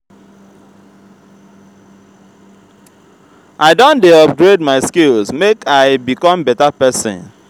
i don dey upgrade my skills make i become beta pesin.